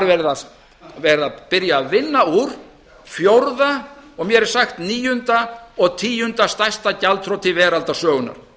verið að byrja að vinna úr fjórða og mér er sagt níunda og tíunda stærsta gjaldþroti veraldarsögunnar